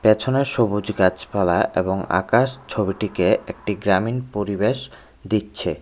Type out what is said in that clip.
পেছনে সবুজ গাছপালা এবং আকাশ ছবিটিকে একটি গ্রামীণ পরিবেশ দিচ্ছে।